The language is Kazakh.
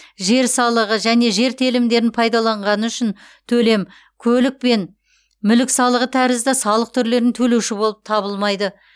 жер салығы және жер телімдерін пайдаланғаны үшін төлем көлік пен мүлік салығы тәрізді салық түрлерін төлеуші болып табылмайды